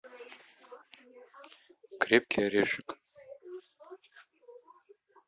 крепкий орешек